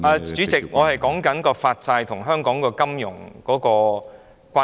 主席，我正在說明發債與香港金融的關係。